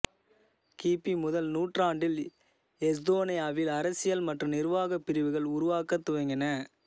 கிபி முதல் நூற்றாண்டில் எஸ்தோனியாவில் அரசியல் மற்றும் நிர்வாகப் பிரிவுகள் உருவாகத் துவங்கின